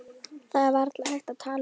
Það er varla hægt að tala um þetta.